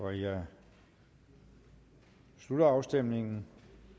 jeg slutter afstemningen